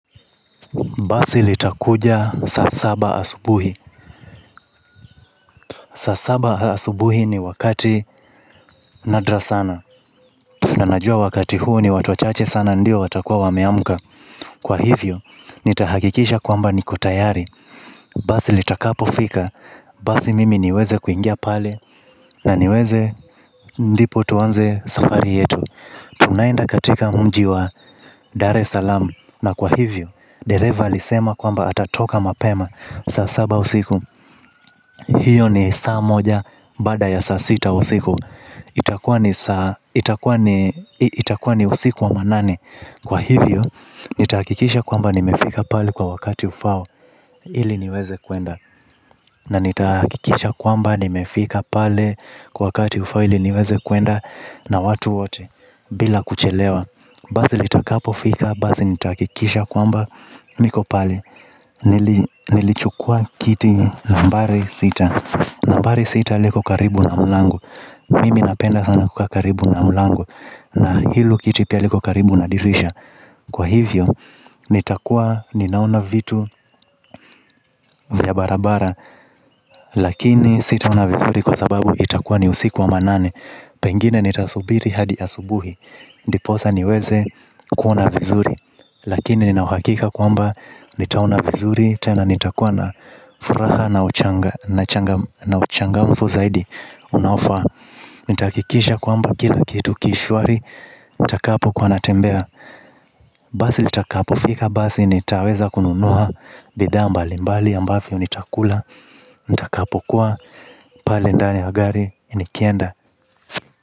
Basi litakuja saa saba asubuhi. Saa saba asubuhi ni wakati nadra sana. Na najua wakati huu ni watu wachache sana ndio watakuwa wameamka. Kwa hivyo, nitahakikisha kwamba nimekuwa tayari. Basi litakapofika, basi mimi niweze kuingia pale. Na niweze, ndipo tuanze safari yetu. Tunaenda katika mji wa Dar es Salaam. Na kwa hivyo, dereva alisema kwamba atatoka mapema, saa saba usiku, hiyo ni saa moja bada ya saa sita usiku. Itakuwa ni usiku wa manane. Kwa hivyo, nitahakikisha kwamba nimefika pale kwa wakati ufaao ili niweze kwenda. Na nitahakikisha kwamba nimefika pale kwa wakati ufaao ili niweze kwenda na watu wote, bila kuchelewa. Basi litakapofika, basi nitahakikisha kwamba niko pale. Nilichukua kiti nambari sita. Nambari sita liko karibu na mlango. Mimi napenda sana kukaa karibu na mlango. Na hilo kiti pia liko karibu na dirisha. Kwa hivyo, nitakuwa ninaona vitu vya barabarani. Lakini sitaona vizuri kwa sababu itakuwa ni usiku wa manane. Pengine nitasubiri hadi asubuhi, ndiposa niweze kuona vizuri. Lakini nina uhakika kwamba nitaona vizuri, tena nitakuwa na furaha na uchangamfu zaidi unaofaa. Nitahakikisha kwamba kila kitu kishwari nitakapokuwa natembea. Basi litakapofika basi nitaweza kununua bidhaa mbalimbali ambazo nitakula. Nitakapokuwa pale ndani ya gari, nikienda,